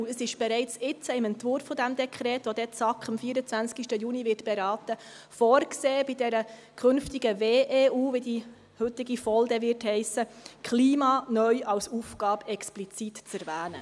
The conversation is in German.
Es ist bereits jetzt im Entwurf dieses Dekrets, welches die SAK dann am 24. Juni beraten wird, vorgesehen, bei der künftigen WEU, wie die VOL dann heissen wird, das Klima neu als Aufgabe explizit zu erwähnen.